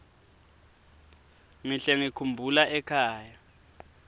ngihle ngikhumbula ekhaya